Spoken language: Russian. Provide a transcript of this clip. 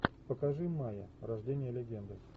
покажи майя рождение легенды